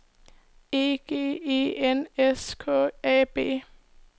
E G E N S K A B